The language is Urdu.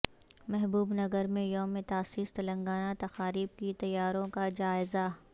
محبوب نگر میں یوم تاسیس تلنگانہ تقاریب کی تیاریوں کا جائزہ